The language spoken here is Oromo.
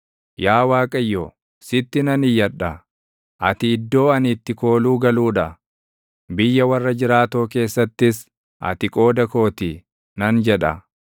Yaa Waaqayyo, sitti nan iyyadha; “Ati iddoo ani itti kooluu galuu dha; biyya warra jiraatoo keessattis ati qooda koo ti” nan jedha.